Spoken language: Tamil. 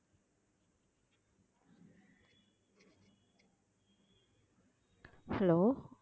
hello